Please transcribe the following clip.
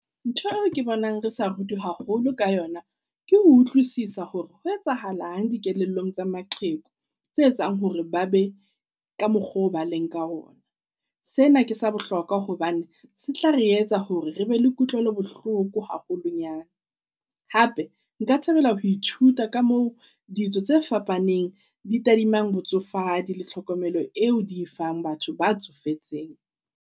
Ntho eo ke bonang re sa rutwi haholo ka yona ke ho utlwisisa hore ho etsahalang dikelellong tsa maqheku tse etsang hore ba be ka mokgwa oo ba leng ka ona. Sena ke sa bohlokwa hobane se tla re etsa hore re be le kutlwelo bohloko haholonyana. Hape nka thabela ho ithuta ka moo tse fapaneng di tadimana botsofadi le tlhokomelo eo di fang batho ba tsofetseng.